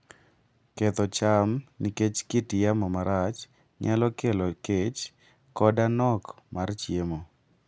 Ketho cham nikech kit yamo marach nyalo kelo kech koda nok mar chiemo.